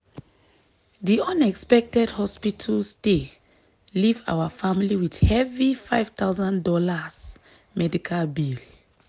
di unexpected hospital stay leave our family with heavy five thousand dollars medical bill.